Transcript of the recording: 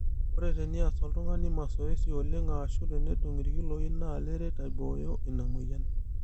ore teneas oltungani masoesi oleng ashu tenedung' irkiloi naa leret aibooyo ina moyian